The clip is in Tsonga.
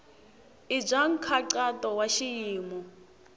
i bya nkhaqato wa xiyimo